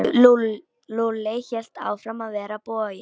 Lúlli hélt áfram að vera boginn.